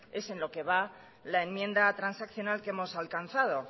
es en lo que va la enmienda transaccional que hemos alcanzado